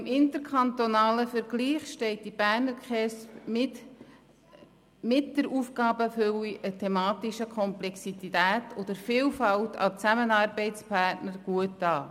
Auch im interkantonalen Vergleich steht die Berner KESB mit der Aufgabenfülle, der thematischen Komplexität und der Vielfalt an Zusammenarbeitspartnern gut da.